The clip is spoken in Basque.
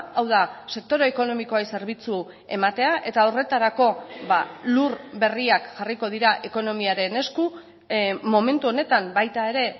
hau da sektore ekonomikoei zerbitzu ematea eta horretarako lur berriak jarriko dira ekonomiaren esku momentu honetan baita ere